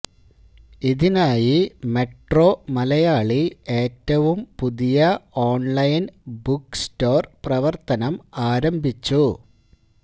ഇതിനായി മെട്രോ മലയാളി ഏറ്റവും പുതിയ ഓൺലൈൻ ബുക്ക് സ്റ്റോർ പ്രവർത്തനം ആരംഭിച്ചു